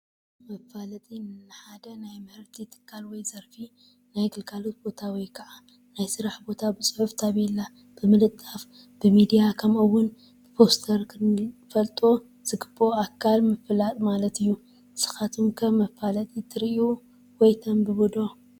መፋለጢ፡- ንሓደ ናይ ምህርቲ ትካል ወይ ዘርፊ ፣ ናይ ግልጋሎት ቦታ ወይ ከዓ ናይ ስራሕ ቦታ ብፅሑፍ ታፔላ ብምልጣፍ፣ ብሚድያ ከምኡ ውን ብፖስተር ንኽፈልጦ ዝግበኦ ኣካል ምፍላጥ ማለት እዩ፡፡ ንስኻትኩም ከ መፋለጢ ትሪኡ ወይ ተንብቡ ዶ?